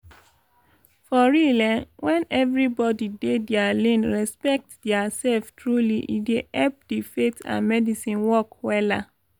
for real eh. wen everybodi dey dia lane respect dia sef truly e dey epp di faith and medicine work wella